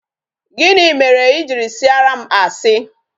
Gịnị mere I jiri sịara m asi?